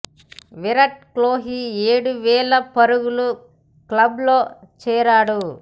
విరాట్ కోహ్లీ ఏడు వేల పరుగుల క్లబ్ లో చేరాడు